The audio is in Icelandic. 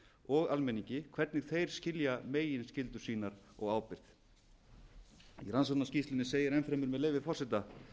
og almenningi hvernig þeir skilja meginskyldur sínar og ábyrgð í rannsóknarskýrslunni segir enn fremur með leyfi forseta